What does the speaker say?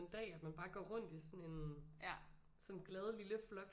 Dag at man bare går rundt i sådan en sådan en glad lille flok